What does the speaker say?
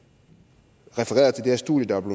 det studie der var